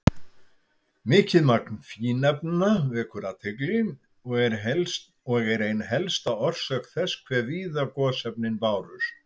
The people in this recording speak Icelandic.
Mikið magn fínefna vekur athygli og er ein helsta orsök þess hve víða gosefnin bárust.